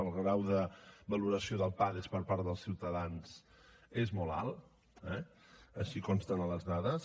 el grau de valoració del pades per part dels ciutadans és molt alt eh així consta en les dades